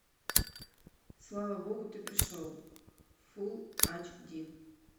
слава богу ты пришел фул ач ди